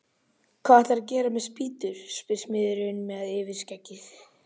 Fossvogsblett til dæmis, og þær höfðu stundum hænur.